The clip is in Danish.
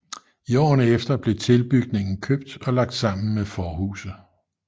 I årene efter blev tilbygningen købt og lagt sammen med forhuset